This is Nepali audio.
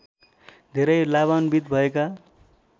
धेरै लाभान्बित भएका